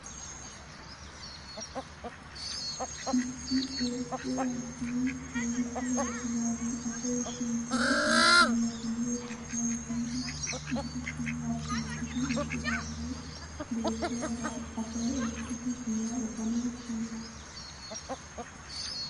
Issi ordde addee keehippe orddidagee asay shiiqqidi oykkanawu haniyoo gishshawu giidi issi sohuwaa shiiqidi eqqidaagee beettiyaagaa asaay oyqqidi giyaa efanawu hanees!